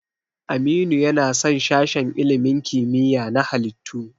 Aminu yana son sashen ilimin kimiyya na halittu.